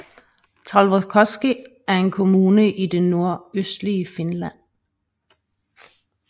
Taivalkoski er en kommune i det nordøstlige Finland